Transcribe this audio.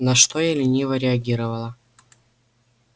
на что я лениво реагировала